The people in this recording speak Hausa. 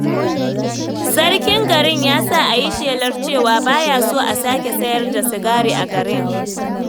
Sarkin gari ya sa a yi shelar cewa ba ya so a sake sayar da sigari a garin.